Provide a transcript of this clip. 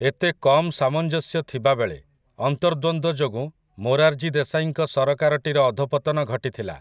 ଏତେ କମ୍ ସାମଞ୍ଜସ୍ୟ ଥିବାବେଳେ, ଅନ୍ତର୍ଦ୍ୱନ୍ଦ୍ୱ ଯୋଗୁଁ ମୋରାର୍‌ଜୀ ଦେଶାଈଙ୍କ ସରକାରଟିର ଅଧୋପତନ ଘଟିଥିଲା ।